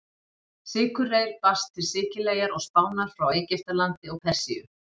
Sykurreyr barst til Sikileyjar og Spánar frá Egyptalandi og Persíu.